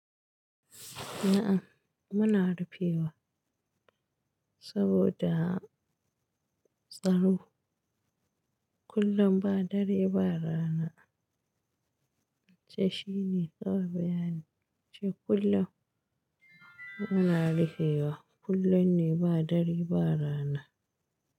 Aah muna rufewa saboda tsaro. Kullum ba dare ba rana ce shine kawai bayani ce. Kullum muna rufewa, kullum ne ba dare ba rana.